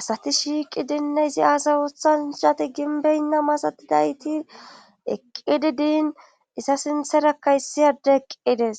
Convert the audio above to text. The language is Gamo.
asati shiiqi dinne izi aasa wuthanshati ginbeynna masatidayti eqqidi diin isa sintherakka issiyade eqqides